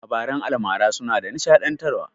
Labaran almara suna da nishaɗantar wa